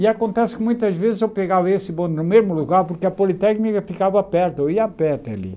E acontece que muitas vezes eu pegava esse bonde no mesmo lugar, porque a Politécnica ficava perto, eu ia a pé até ali.